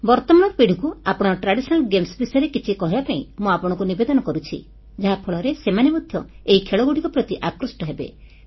ବର୍ତ୍ତମାନର ପିଢ଼ିକୁ ପାରମ୍ପରିକ ଖେଳ ବିଷୟରେ କିଛି କହିବା ପାଇଁ ମୁଁ ଆପଣଙ୍କୁ ନିବେଦନ କରୁଛି ଯାହାଫଳରେ ସେମାନେ ମଧ୍ୟ ଏହି ଖେଳଗୁଡ଼ିକ ପ୍ରତି ଆକୃଷ୍ଟ ହେବେ